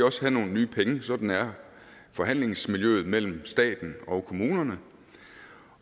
også have nogle nye penge sådan er forhandlingsmiljøet mellem staten og kommunerne